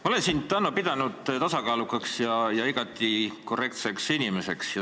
Ma olen sind, Hanno, pidanud tasakaalukaks ja igati korrektseks inimeseks.